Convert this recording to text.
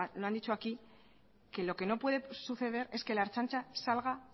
lo han dicho aquí que lo que no puede suceder es que la ertzaintza salga